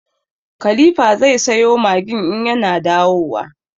Khalifa zai sayo Maggin in ya na dawowa.